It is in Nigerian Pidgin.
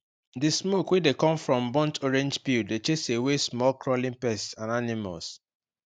the smoke wey dey come from burnt orange peel dey chase away small crawling pests and animals